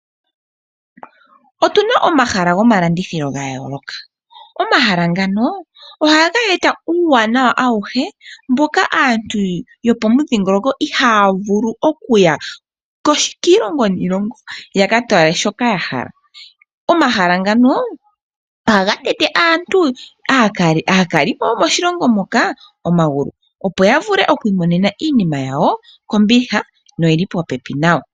Otuna omahala gomalandithilo gayooloka. Omahala ngano ohaga e ta uuwanawa awuhe mboka aantu yopomudhingoloko haa vulu oku ya kiilongo niilongo yaka tale shoka yahala. Omahala ngano ohaga tete aakalimo yomoshilongo moka omagulu opo ya vule okwiimonena iinima yawo kombiliha popepi nawa.